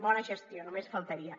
bona gestió només faltaria